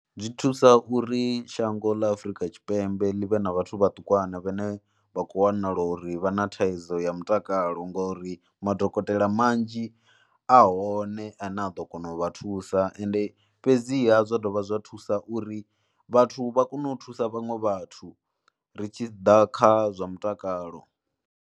Zwi thusa uri shango ḽa Afrika Tshipembe ḽi vhe na vhathu vhe vhaṱukwana vhane vha khou wanala uri vha na thaidzo ya mutakalo ngori madokotela manzhi a hone ane a ḓo kona u vha thusa ende fhedziha zwa dovha zwa thusa uri vhathu vha kone u thusa vhaṅwe vhathu ri tshi ḓa kha zwa mutakalo.